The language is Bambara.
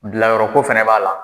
Bilayɔrɔ ko fana b'a la.